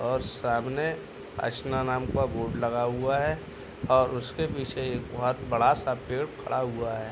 और सामने का बोर्ड लगा हुआ है और उसके पीछे एक बहुत बड़ा सा पेड़ खड़ा हुआ है।